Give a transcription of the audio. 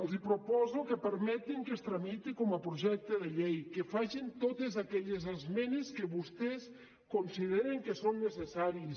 els proposo que permetin que es tramiti com a projecte de llei que facin totes aquelles esmenes que vostès consideren que són necessàries